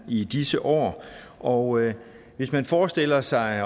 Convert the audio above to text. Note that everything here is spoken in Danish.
i disse år og hvis man forestiller sig at